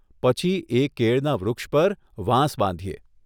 પછી એ કેળના વૃક્ષ પર વાંસ બાંધીએ.